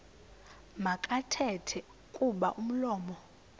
makathethe kuba umlomo